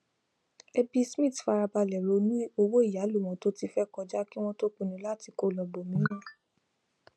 ẹbí smith farabalẹ ronú owó ìyálò wọn tó ti fẹ kọjá kí wón tó pinnu láti kó lọ ibọmíràn